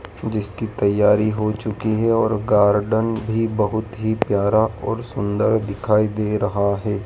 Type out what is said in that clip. जिसकी तैयारी हो चुकी है और गार्डन भी बहोत ही प्यारा और सुंदर दिखाई दे रहा है।